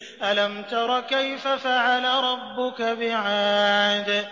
أَلَمْ تَرَ كَيْفَ فَعَلَ رَبُّكَ بِعَادٍ